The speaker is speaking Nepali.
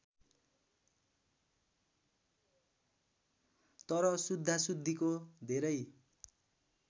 तर शुद्धाशुद्धिको धेरै